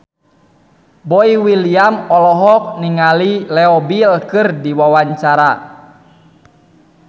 Boy William olohok ningali Leo Bill keur diwawancara